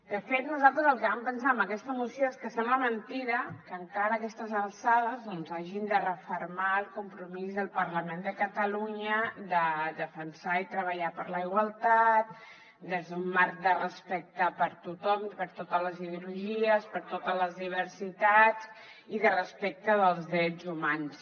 de fet nosaltres el que vam pensar amb aquesta moció és que sembla mentida que encara a aquestes alçades doncs hàgim de refermar el compromís del parlament de catalunya de defensar i treballar per la igualtat des d’un marc de respecte per a tothom per a totes les ideologies per a totes les diversitats i de respecte dels drets humans